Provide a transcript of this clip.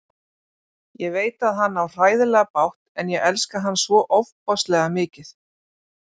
Ég veit að hann á hræðilega bágt en ég elska hann svo ofboðslega mikið.